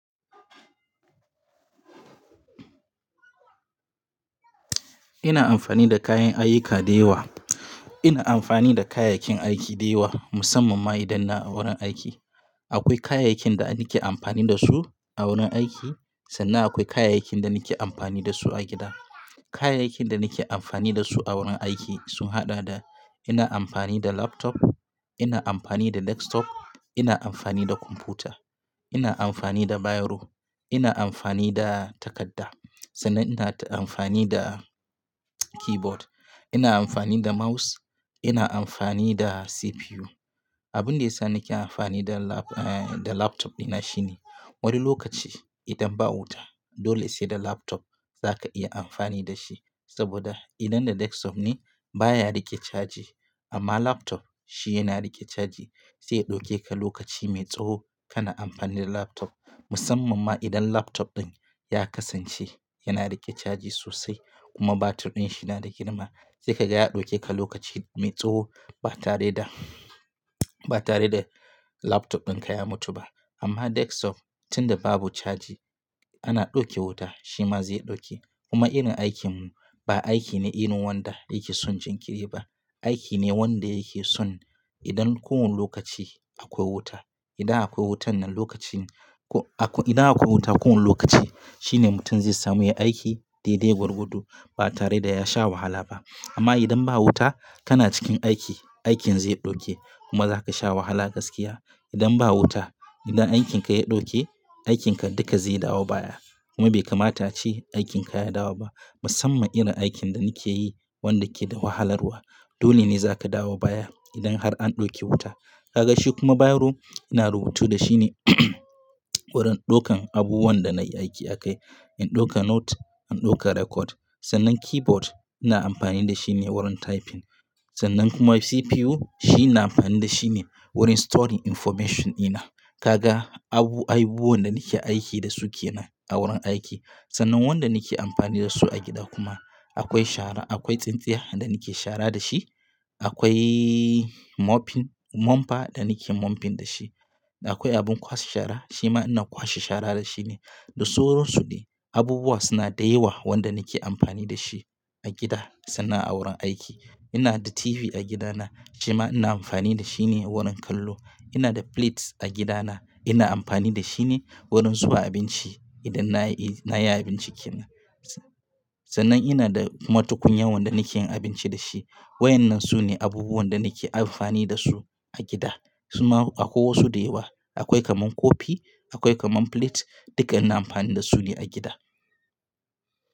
Ina amfani da kayan ayyuka da yawa. Ina amfani da kayayyakin aiki da yawa musamman ma idan ina a wurin aiki. Akwai kayayyakin da nake amfani da su a wurin aiki sannan akwai kayayyakin da nake amfani da su a gida. Kayayyakin da nake amfani dasu a wurin aiki sun haɗa da ina amfani da laptop, ina amfani da desktop, ina amfani da kwamfuta, ina amfani da biro, ina amfani da takadda, sannan ina amfani da keyboard, ina amfani da mouse, ina amfani da CPU. Abin da ya sa nake amfani da lap-- eh, da laptop ina shine wani lokaci idan ba wuta dole sai da laptop zaka iya amfani da shi saboda idan da desktop ne baya riƙe caji amma laptop shi yana riƙe caji zai ɗauke ka lokaci mai tsawo kana amfani da laptop musamman ma idan laptop ɗin ya kasance yana riƙe caji sosai kuma batir ɗin shi yana da girma sai ka ga ya ɗauke ka lokaci mai tsawo ba tare da, ba tare da laptop dinka ya mutu ba. Amma desktop tun da babu caji ana ɗauke wuta shi ma zai ɗauke kuma irin aikin mu ba aiki ne irin wanda yake son jinkiri ba. Aiki ne wanda yake son idan kowane lokaci akwai wuta. Idan akwai wuta nan lokacin ko-- idan akwai wuta kowane lokaci shine mutum zai samu yayi aiki daidai gwargwado ba tare da ya sha wahala ba. Amma idan ba wuta kana cikin aiki, aikin zai ɗauke kuma zaka sha wahala gaskiya. Idan ba wuta idan aikin ka ya ɗauke aikin ka duka zai dawo baya kuma bai kamata ce aikin ka ya dawo ba musamman irin aikin da nake yi wanda ke da wahalarwa. Dole ne zaka dawo baya idan har an ɗauke wuta. Kaga shi kuma biro ina rubutu da shi ne wurin ɗaukan abubuwan da na yi aiki a kai. In ɗauka note, in ɗauka record. Sannan keyboard ina amfani da shi ne wurin typing. Sannan kuma CPU shi na amfani da shi ne wurin storing information ɗina. Kaga abu, abubuwan da nake aiki dasu kenan a wurin aiki sannan wanda nake amfani dasu a gida kuma akwai shara, akwai tsintsiya da nake shara da shi, akwai mopping, mopa da nake mopping da shi, da akwai abin kwashe shara shi ma ina kwashe shara da shi ne. Da sauransu ne. Abubuwa suna da yawa wanda nake amfani da shi a gida sannan a wurin aiki. Ina da TV a gida na shi ma ina amfani da shi ne wurin kallo. Ina da plates a gida na ina amfani da shine wurin zuwa abinci idan na yi, na yi abinci kenan. Sannan ina da kuma tukunya wanda nake yin abinci da shi. Waƴannan su ne abubuwan da nake amfani da su a gida. Kuma akwai wasu da yawa. Akwai kaman kofi, akwai kaman plate duka ina amfani da su ne a gida.